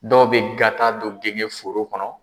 Dɔw be gata don genge foro kɔnɔ